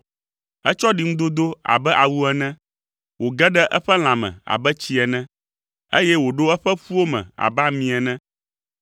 Etsɔ ɖiŋudodo do abe awu ene, wòge ɖe eƒe lãme abe tsi ene, eye wòɖo eƒe ƒuwo me abe ami ene,